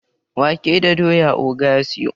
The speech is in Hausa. wake da doya oga ya siyo